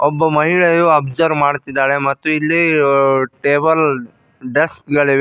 ಒಬ್ಬ ಮಹಿಳೆಯು ಒಬ್ಸರ್ವ್ ಮಾಡುತ್ತಿದ್ದಾಳೆ ಮತ್ತು ಇಲ್ಲಿ ಟೇಬಲ್ ಡೆಸ್ಕ್ ಗಳಿವೆ.